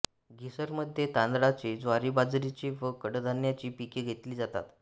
घिसरमध्ये तांदळाचे ज्वारीबाजरीचे व कडधान्यांची पिके घेतली जातात